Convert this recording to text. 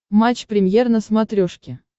матч премьер на смотрешке